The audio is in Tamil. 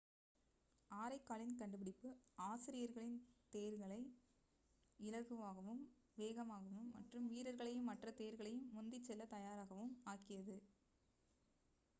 ஆரைக்காலின் கண்டுபிடிப்பு அசிரியர்களின் தேர்களை இலகுவாகவும் வேகமாகவும் மற்றும் வீரர்களையும் மற்ற தேர்களையும் முந்திச்செல்லத் தயாராகவும் ஆக்கியது